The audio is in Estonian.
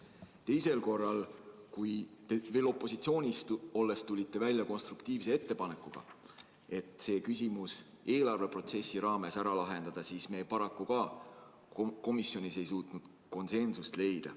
Teisel korral, kui te veel opositsioonis olles tulite välja konstruktiivse ettepanekuga see küsimus eelarveprotsessi raames ära lahendada, me paraku jälle ei suutnud komisjonis konsensust leida.